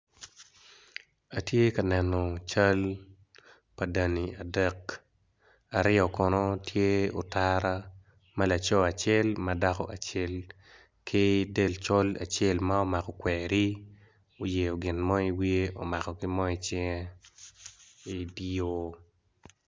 Atye ka neno cal pa dani adek aryo kono tye otara ma laco acel madako acel ki del col acel ma omako kweri oyeo ginmo i wiye omako ginmo i cinge idi yor.